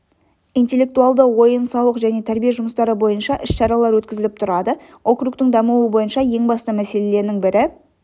интеллектуалды ойын-сауық және тәрбие жұмыстары бойынша іс-шаралар өткізіліп тұрады округтің дамуы бойынша ең басты мәселенің бірі